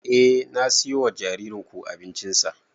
Eh na siyo wa jaririn ku abincin sa